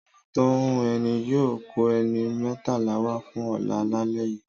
Àwọn tó ń hun ẹní yóò kó ẹni mẹ́tàlá wá fún Ọlá lálẹ́ yìí.